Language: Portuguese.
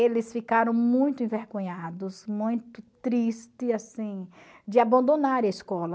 Eles ficaram muito envergonhados, muito triste, assim, de abandonarem a escola.